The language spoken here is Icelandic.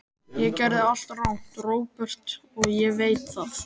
Ég gerði allt rangt, Róbert, og ég veit það.